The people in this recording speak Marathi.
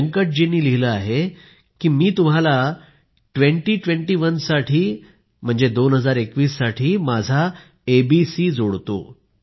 व्यंकट यांनी लिहिले आहे की मी तुम्हाला ट्वेंटी ट्वेंटी वन साठी दोन हजार एकवीस साठी माझा एबीसी जोडतो